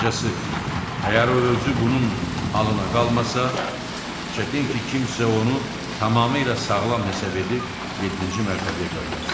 Qısacası, əgər o özü bunun halına qalmasa, çətin ki kimsə onu tamamilə sağlam hesab edib yeddinci mərtəbəyə qaytarsın.